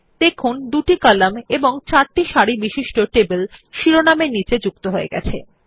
দেখুন দুটি কলাম এবং চারটি সারি বিশিষ্ট টেবিল শিরোনাম এর নীচে যুক্ত হয়েছে